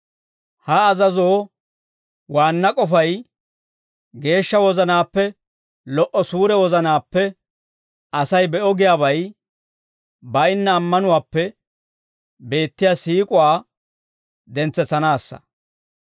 Ha azazoo waanna k'ofay geeshsha wozanaappe, lo"o suure wozanaappe, Asay be'o giyaabay baynna ammanuwaappe beettiyaa siik'uwaa dentsetsanaassa.